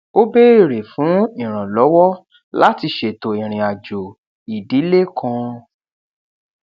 ó béèrè fún ìrànlówó láti ṣètò ìrìn àjò ìdílé kan